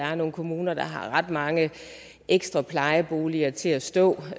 er nogen kommuner der har ret mange ekstra plejeboliger til at stå